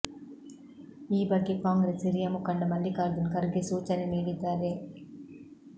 ಈ ಬಗ್ಗೆ ಕಾಂಗ್ರೆಸ್ ಹಿರಿಯ ಮುಖಂಡ ಮಲ್ಲಿಕಾರ್ಜುನ್ ಖರ್ಗೆ ಸೂಚನೆ ನೀಡಿದ್ದಾರೆ